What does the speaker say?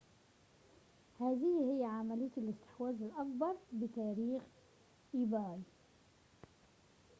هذه هي عملية الاستحواذ الأكبر بتاريخ إيباي